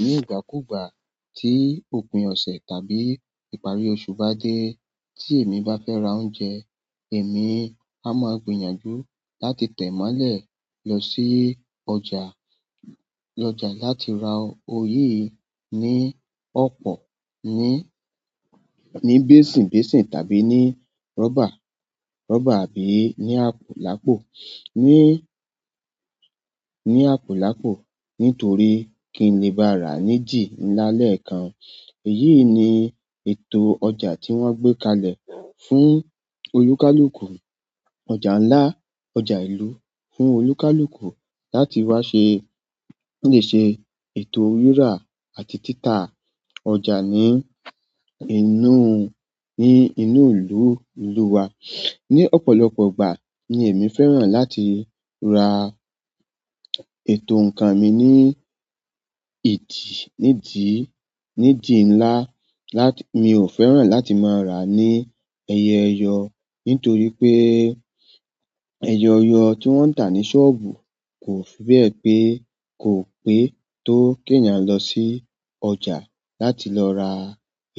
Ní ìgbàkúgbà tí òpin ọ̀sẹ̀ tàbí ìparí oṣù bá dé tí èmi bá fẹ́ ra oúnjẹ, èmi a máa gbìyànjú láti tẹ̀málẹ̀ lọ sí ọjà, lọjà láti ra oyé ní ọ̀pọ̀ ní, ní besinbesin tàbí ní rọ́bà, rọ́bà àbí ní àpò lápò, ní, ní àpò lápò nítorí kí n lè bá rà ní dì ńlá lẹ́ẹ̀kan. Èyí ni ètò ọjà tí wọ́n gbé kalẹ̀ fún olúkalùkù, ọjà ńlá, ọjà ìlú fún olúkalùkù láti wá ṣe, lè ṣe ètò rírà àti títà ọ̀jà ní inú, ní inú ìlú, ìlú wa. Ni ọ̀pọ̀lọpọ̀ ìgbà ni èmi fẹ́ràn láti ra ètò nkan mi ni idi ni di ńlá mi o fẹ́ràn láti mo ra ni eyo eyo nítorí pé ẹyẹyọ tí wọ́n ń tà ní sọ́ọ̀bù kò fi bẹ́ẹ̀ pé, kò pé tó kí èèyàn lọ sí ọjà láti lọ ra